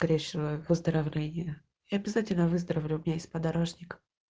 скорейшего выздоровления и обязательно выздоровлю у меня есть подорожник